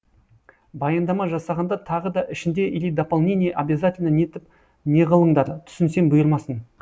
баяндама жасағанда тағы да ішінде или дополнение обязательно нетіп неғылыңдар түсінсем бұйырмасын